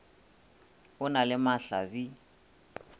o na le mahla bi